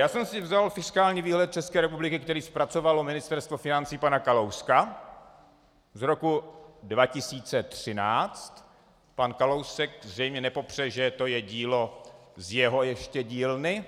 Já jsem si vzal fiskální výhled České republiky, který zpracovalo Ministerstvo financí pana Kalouska z roku 2013, pan Kalousek zřejmě nepopře, že to je dílo z jeho ještě dílny,